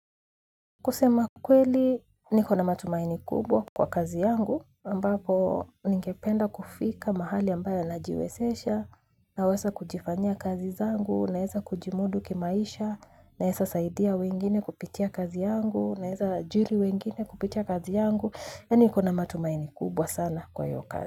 Kusema kweli niko namatumaini kubwa kwa kazi yangu, ambapo ningependa kufika mahali ambayo najiwesesha, na wesa kujifanya kazi zangu, naeza kujimudu kimaisha, naeza saidia wengine kupitia kazi yangu, naeza ajiri wengine kupitia kazi yangu, ya ni kuna matumaini kubwa sana kwahiyu kazi.